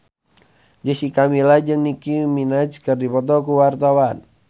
Jessica Milla jeung Nicky Minaj keur dipoto ku wartawan